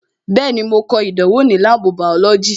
Bẹẹni, mo ko ìdánwò ní láàbù bàọ́lọ́jì "